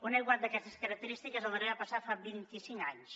un aiguat d’aquestes característiques el darrer va passar fa vint i cinc anys